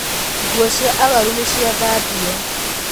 Nguo cia arwaru nĩciathambio.